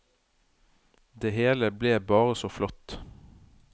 Det hele ble bare så flott.